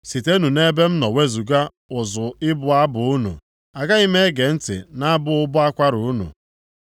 Sitenụ nʼebe m nọ wezuga ụzụ ịbụ abụ unu. Agaghị m ege ntị nʼabụ ụbọ akwara unu.